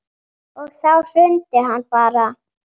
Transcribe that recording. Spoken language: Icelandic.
Og þá hrundi hann bara.